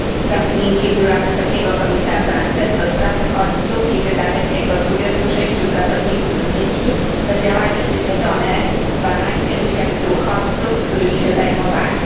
Zamknięcie biura wysokiego komisarza ONZ ds. uchodźców i wydalenie jego 26 pracowników z Libii to działanie wymierzone w 12 tysięcy uchodźców, którymi się zajmowali.